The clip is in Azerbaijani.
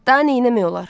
Da nə eləmək olar?